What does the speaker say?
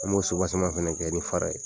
Ali y'o senko caman fana kɛ i bɛ fara ye.